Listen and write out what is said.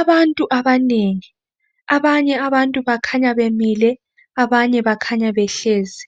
Abantu abanengi, abanye abantu bakhanya bemile, abanye bakhanya behlezi.